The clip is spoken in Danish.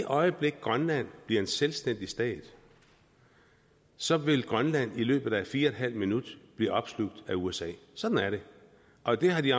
øjeblik grønland bliver en selvstændig stat så vil grønland i løbet af fire en halv minut blive opslugt af usa sådan er det og det har de